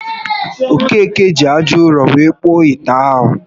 Okeke ji aja ụrọ were kpụọ ite ahụ